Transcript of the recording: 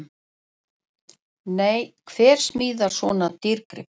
Nei, hver smíðar svona dýrgrip?!